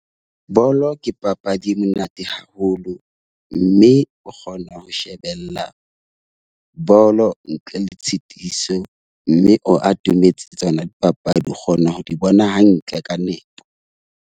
Bolo ke papadi e monate haholo. Mme o kgona ho shebella bolo ntle le tshitiso, mme o atometse tsona dipapadi o kgona ho di bona hantle ka nepo.